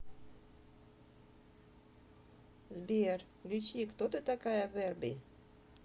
сбер включи кто ты такая верби